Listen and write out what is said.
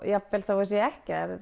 jafnvel þótt svo sé ekki